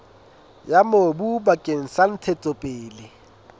ya mobu bakeng sa ntshetsopele